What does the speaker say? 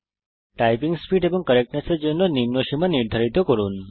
typing speed এবং correctness এর জন্য নিম্ন সীমা নির্ধারিত করুন